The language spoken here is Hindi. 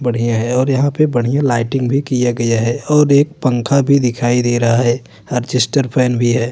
बढ़िया है और यहाँ पे बढ़िया लाइटिंग भी किया गया है और एक पंखा भी दिखाई दे रहा है। अरजेस्टर फैन भी है।